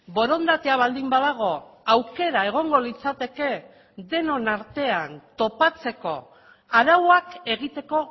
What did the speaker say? borondatea baldin badago aukera egongo litzateke denon artean topatzeko arauak egiteko